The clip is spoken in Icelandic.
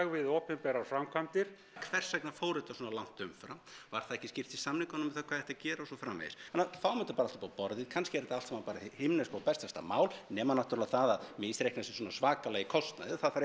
við opinberar framkvæmdir hvers vegna fór þetta svona langt umfram var það ekki skýrt í samningunum um það hvað ætti að gera og svo framvegis þannig að fáum þetta allt upp á borðið kannski er þetta allt saman hið himneska og bestasta mál nema náttúrulega það að misreikna sig svona svakalega í kostnaði það þarf